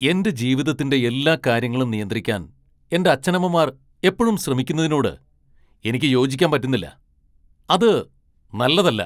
എന്റെ ജീവിതത്തിന്റെ എല്ലാ കാര്യങ്ങളും നിയന്ത്രിക്കാൻ എന്റെ അച്ഛനമ്മമാർ എപ്പഴും ശ്രമിക്കുന്നതിനോട് എനിക്ക് യോജിക്കാൻ പറ്റുന്നില്ല. അത് നല്ലതല്ല .